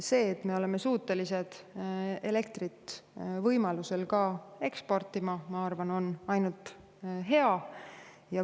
See, et me oleme suutelised elektrit võimaluse korral ka eksportima, on minu arvates ainult hea.